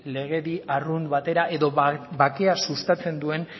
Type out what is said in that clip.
legedi arrunt batera edo bakea sustatzen duen